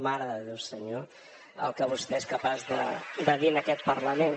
mare de déu senyor el que vostè és capaç de dir en aquest parlament